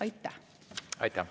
Aitäh!